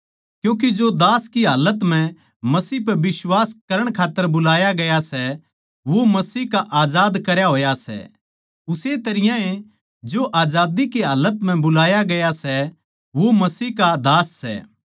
क्यूँके जो दास की हालत म्ह मसीह पै बिश्वास करण खात्तर बुलाया गया सै वो मसीह का आजाद करया होया सै उस्से तरियां ए जो आजादी की हालत म्ह बुलाया गया सै वो मसीह का दास सै